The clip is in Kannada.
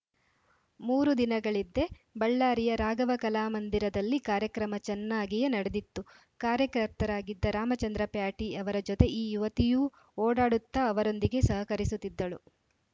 ಮೂರು ದಿನಗಳಿದ್ದೆ ಬಳ್ಳಾರಿಯ ರಾಘವ ಕಲಾಮಂದಿರದಲ್ಲಿ ಕಾರ್ಯಕ್ರಮ ಚೆನ್ನಾಗಿಯೇ ನಡೆದಿತ್ತು ಕಾರ್ಯಕರ್ತರಾಗಿದ್ದ ರಾಮಚಂದ್ರ ಪ್ಯಾಟಿಯವರ ಜೊತೆ ಈ ಯುವತಿಯೂ ಓಡಾಡುತ್ತಾ ಅವರೊಂದಿಗೆ ಸಹಕರಿಸುತ್ತಿದ್ದಳು